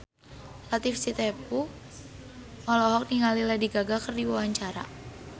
Latief Sitepu olohok ningali Lady Gaga keur diwawancara